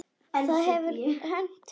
Það hefur hent fleiri.